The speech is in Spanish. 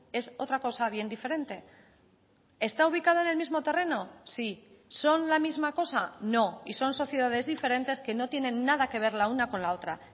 es otra cosa bien diferente está ubicada en el mismo terreno sí son la misma cosa no y son sociedades diferentes que no tienen nada que ver la una con la otra